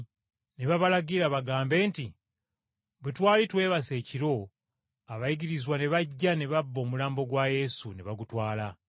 Ne babalagira bagambe nti, “Bwe twali twebase ekiro, abayigirizwa ne bajja ne babba omulambo gwa Yesu ne bagutwala.”